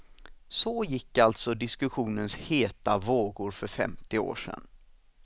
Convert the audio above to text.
Så gick alltså diskussionens heta vågor för femtio år sedan.